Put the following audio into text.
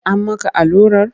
An maka allurar?